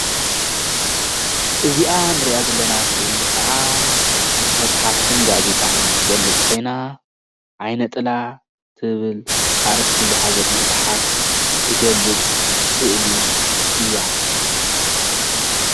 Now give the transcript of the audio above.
እዚኣ ንሪኣ ዘለና ስእሊ ከዓ መጻሓፍትን ጋዜጣን ትገልፅ ኾይና ዓይነ ጥላ ትብል ኣርእስቲ ዝሓዘት መፅሓፍ ትገልፅ ስእሊ እያ።